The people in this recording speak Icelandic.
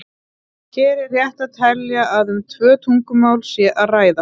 Hér er rétt að telja að um tvö tungumál sé að ræða.